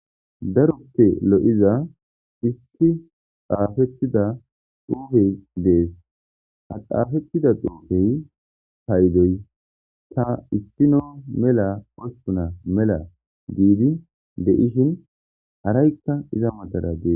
daruppe lo'iza issi xaafettida dhuufey dees aqaafettida duufey haydoy ta issino mela pospuna mela giidi de7ishin araykka iza matara dees